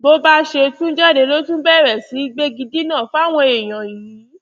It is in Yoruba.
bó ṣe tún jáde ló tún bẹrẹ sí í gbégidínà fáwọn èèyàn yìí